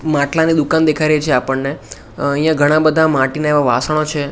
માટલાની દુકાન દેખાડે છે આપણને અહીંયા ઘણા બધા માટીના એવા વાસણો છે.